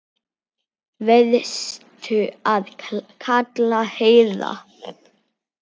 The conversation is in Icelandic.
Varstu að kalla, herra?